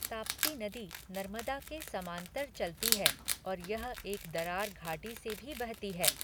ताप्ती नदी नर्मदा के समांतर चलती है, और यह एक दरार घाटी से भी बहती है।